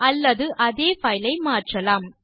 அல்லது அதே பைலை மாற்றலாம்